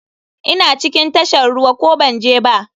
Ina cikin tashar ruwa ko banje ba?